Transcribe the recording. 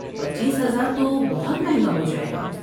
پچیس ہزار تو بہت مہنگا ہو جائے گا